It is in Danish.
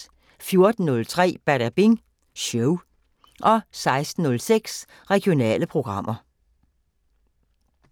14:03: Badabing Show 16:06: Regionale programmer